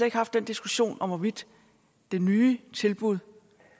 ikke haft den diskussion om hvorvidt det nye tilbud